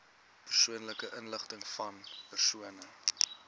persoonlike inligtingvan persone